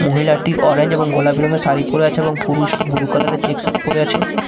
মহিলাটি অরেঞ্জ এবং গোলাপি রঙ্গের শাড়ি পরে আছে এবং পুরুষটি ব্লু কালার -এর চেক শার্ট পরে আছে।